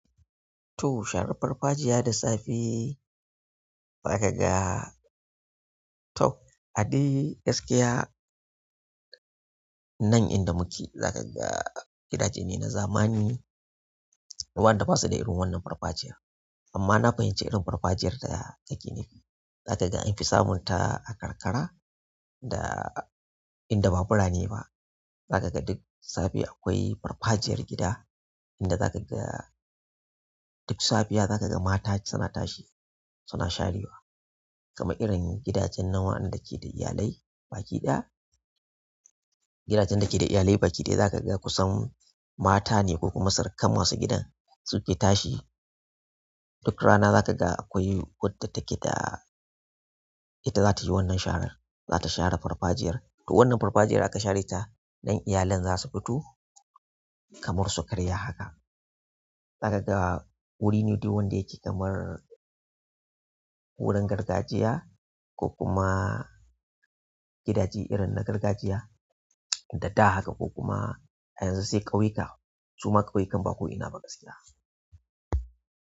Toh, sharan parpajiya da safe, nan dai zakaga gidajene haka na zamani wanda basu da irin wannan farfajiyar amma na fahimci irin farfajiyar da ake nefi zaka ga an fi samunta a karkara da inda babu rane ba zaka ga duk safe akwai farfajiyar gida inda zaka ga duk safiya zaka ga mata suna tashi suna sharewa kamar irin gidajen na wa'anda ke da iyalai baki ɗaya gidajen da ke da iyalai baki ɗaya zaka ga kusan mata ne ko kuma surukan masu gidan suke tashi duk rana zaka ga akwai wadda take da ita zata yi wannan sharan zata share farfajiyar to wannan farfajiyar aka share ta nan iyalan za su fito kamar su karya haka zaka ga wuri ne duk wanda yake kamar wurin gargajiya ko kuma gidaje irin na gargajiya da da haka ko kuma a yanzu sai ƙauyuka su ma ƙauyukan ba ko ina ba gaskiya.